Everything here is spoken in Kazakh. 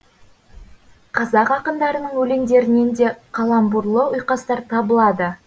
қазақ ақындарының өлеңдерінен де каламбурлы ұйқастар табылады